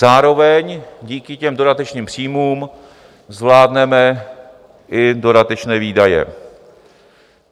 Zároveň díky těm dodatečným příjmům zvládneme i dodatečné výdaje.